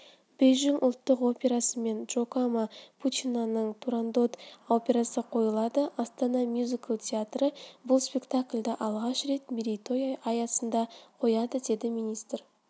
бейжің ұлттық операсымен джакомо пучинаның турандот операсы қойылады астана мюзикл театры бұл спектакльді алғаш рет мерейтой аясында қояды деді министр